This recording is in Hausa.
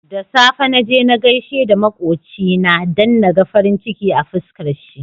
Da safe naje na gaishe da makocina dan naga farin ciki a fiskar shi